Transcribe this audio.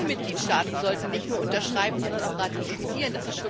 Alle Mitgliedstaaten sollten nicht nur unterschreiben, sondern auch ratifizieren.